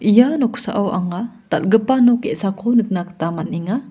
ia noksao anga dal·gipa nok ge·sako nikna gita man·enga.